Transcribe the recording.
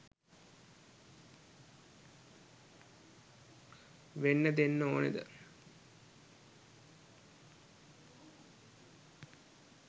වෙන්න දෙන්න ඕනද?